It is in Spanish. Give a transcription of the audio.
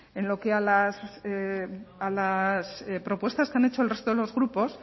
en lo que a las propuestas que han hecho el resto de los grupos